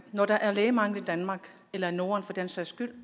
når der er lægemangel i danmark eller i norden for den sags skyld